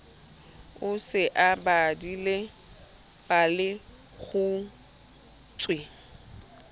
o se o badile palekgutshwe